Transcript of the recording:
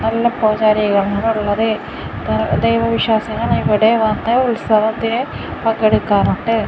നല്ല പൂജാരികൾ ആണ് ഉള്ളത് ദൈവ വിശ്വാസികൾ ഇവിടെ വന്ന് ഉത്സവത്തെ പങ്കെടുക്കാറുണ്ട്.